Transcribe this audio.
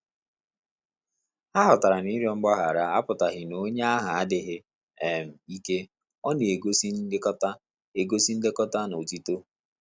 Ha ghọtara na ịrịọ mgbaghara apụtaghị na onye ahụ adịghị um ike - Ọ na egosi nlekọta egosi nlekọta na otito